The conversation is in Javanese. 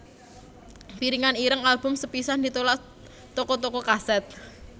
Piringan ireng album sepisan ditolak toko toko kaset